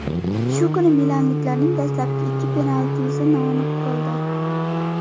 Shu kuni milanliklarning dastlabki ikki penaltisi noaniq bo‘ldi.